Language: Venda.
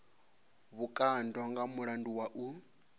vhukando nga mulandu wa u